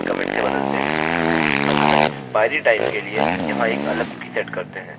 अतः expiry time के लिए यहाँ एक अलग कुकी सेट करते हैं